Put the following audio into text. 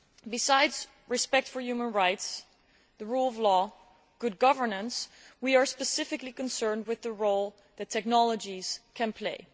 Besides respect for human rights, the rule of law and good governance, we are specifically concerned with the role that technologies can play.